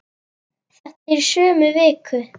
Þetta er í sömu viku!